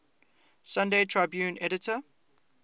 sunday tribune editor